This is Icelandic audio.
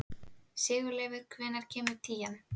Sigurleifur, hvenær kemur tían?